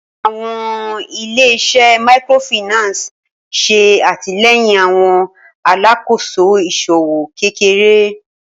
Awọn ile-iṣẹ Microfinance ṣe atilẹyin awọn alakoso iṣowo kekere.